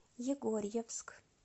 егорьевск